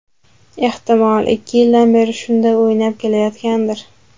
Ehtimol, ikki yildan beri shunday o‘ynab kelayotgandir.